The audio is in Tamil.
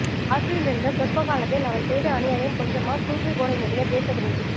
ஆட்சியில் இருந்த சொற்பகாலத்தில் அவன் செய்த அனியாயம் கொஞ்சமா தூக்கில் போடவேண்டிய தேசத்துரோகி